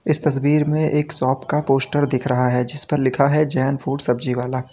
इस तस्वीर में एक शॉप का पोस्टर दिख रहा है जिस पर लिखा है जैन फूड सब्जी वाला।